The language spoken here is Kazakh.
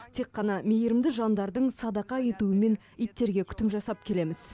тек қана мейірімді жандардың садақа етуімен иттерге күтім жасап келеміз